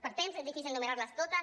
per temps és difícil enumerar·les totes